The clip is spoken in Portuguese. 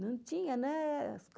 Não tinha, né? As